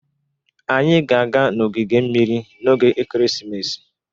Anyị ga-aga na ogige mmiri n'oge ekeresimesi.